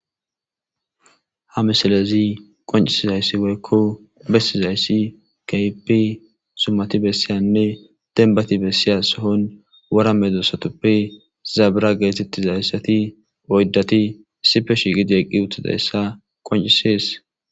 Ha misileyi qoccisidayisi kehippe demibati soohonsoohon wora medostape zebera yagetiyisati oyidati issipe shiqidi eqidayisa qoncisesi